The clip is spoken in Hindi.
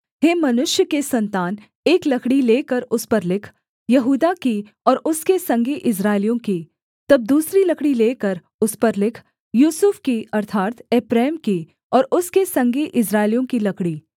हे मनुष्य के सन्तान एक लकड़ी लेकर उस पर लिख यहूदा की और उसके संगी इस्राएलियों की तब दूसरी लकड़ी लेकर उस पर लिख यूसुफ की अर्थात् एप्रैम की और उसके संगी इस्राएलियों की लकड़ी